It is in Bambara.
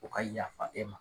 U ka yafa e ma